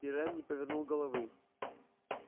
пиренн не повернул головы